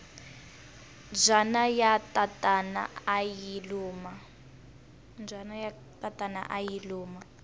mbyana ya tatana ayi luma